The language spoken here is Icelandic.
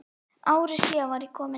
Ári síðar var ég kominn til